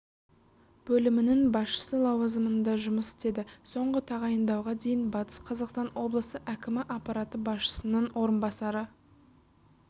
бөлімінің басшысы лауазымында жұмыс істеді соңғы тағайындауға дейін батыс қазақстан облысы әкімі аппараты басшысының орынбасары